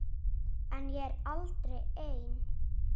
En ég er aldrei ein.